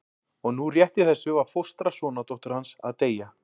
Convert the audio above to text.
Og nú rétt í þessu var fóstra sonardóttur hans að deyja.